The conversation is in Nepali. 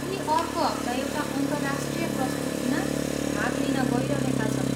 उनी अर्को हप्ता एउटा अन्तर्राष्ट्रिय प्रस्तुतिमा भाग लिन गइरहेका छन्।